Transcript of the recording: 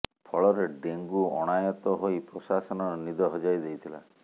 ଫଳରେ ଡେଙ୍ଗୁ ଅଣାୟତ ହୋଇ ପ୍ରଶାସନର ନିଦ ହଜାଇ ଦେଇଥିଲା